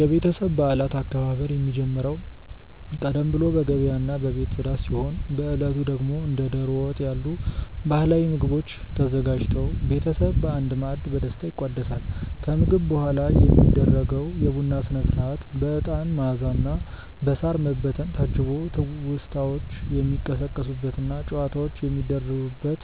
የቤተሰብ በዓላት አከባበር የሚጀምረው ቀደም ብሎ በገበያና በቤት ጽዳት ሲሆን፣ በዕለቱ ደግሞ እንደ ደሮ ወጥ ያሉ ባህላዊ ምግቦች ተዘጋጅተው ቤተሰብ በአንድ ማዕድ በደስታ ይቋደሳል። ከምግብ በኋላ የሚደረገው የቡና ሥነ-ሥርዓት በዕጣን መዓዛና በሳር መበተን ታጅቦ ትውስታዎች የሚቀሰቀሱበትና ጨዋታዎች የሚደሩበት